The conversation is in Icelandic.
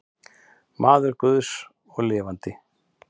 Maður guðs og lifandi.